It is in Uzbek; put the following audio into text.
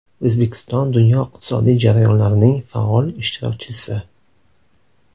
O‘zbekiston dunyo iqtisodiy jarayonlarining faol ishtirokchisi.